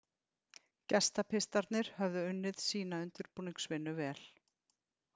Gestapistarnir höfðu unnið sína undirbúningsvinnu vel.